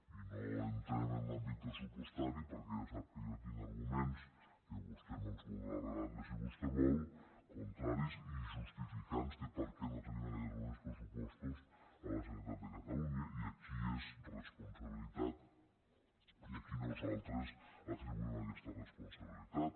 i no entrem en l’àm·bit pressupostari perquè ja sap que jo tinc arguments que vostè me’ls voldrà rebatre si vostè vol contraris i justificants de per què no tenim en aquests moments pressupostos a la generalitat de catalunya i de qui és responsabilitat i a qui nosaltres atribuïm aquesta res·ponsabilitat